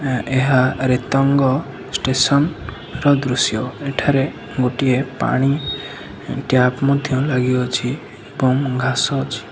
ଏହା ରେତଙ୍ଗ ଷ୍ଟେସନ ର ଦୃଶ୍ୟ ଏଠାରେ ଗୋଟିଏ ପାଣି ଟ୍ୟା୍ପ ମଧ୍ୟ ଲାଗିଅଛି ଏବଂ ଘାସ ଅଛି।